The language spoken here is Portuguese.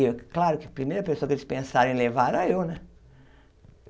E, claro, que primeira pessoa que eles pensaram em levar era eu né.